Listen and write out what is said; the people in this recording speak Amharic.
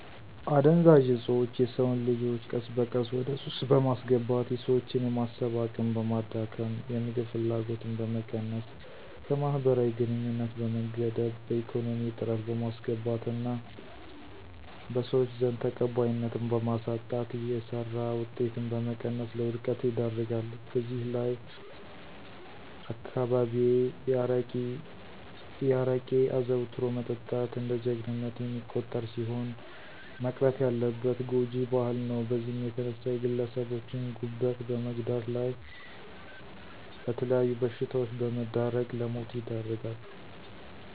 አደንዘዠኦጾቾ የሰወንልጆቾ ቀስበቀስ ወደሱስ በማስገባት የሰወችን የማሰብ አቅምበማዳከም፣ የምግብ ፍላጎትን በመቀነስ ከመህበራዊግንኙነት በመገደብ በኢኮነሚ እጥረት በማስገባት እና ቀሰወች ዘንድ ተቀባይነትን በማሳጣት የሰራ ወጤትን በመቀነስ ለወድቀት ይደርጋል። በዘህላይ አነዳካባቢየ አረቄ አዘዉትሮ መጠጣት እንደጀጀግንነት የሚቆጠርሲሆን መቅረት ያለበት ጓጅ ባህል ነዉ በዚህም የተነሳ የግለሰቦቸን ጉበት በመጉዳት ለመተለያዩ በሽታወች በመዳረግ ለሞት ይደርጋል።